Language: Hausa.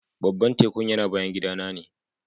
Baban tekun yana bayan gida na ne.